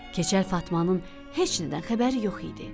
Keçəl Fatmanın heç nədən xəbəri yox idi.